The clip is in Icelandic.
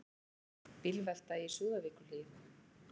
Bílvelta í Súðavíkurhlíð